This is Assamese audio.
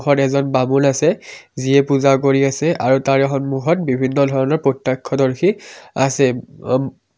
এজন বামুণ আছে যিয়ে পূজা কৰি আছে আৰু তাৰে সন্মুখত বিভিন্ন ধৰণৰ প্ৰতক্ষ্যদৰ্শী আছে অমম--